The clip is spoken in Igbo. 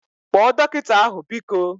Kpọọ dọkịta ahu biko!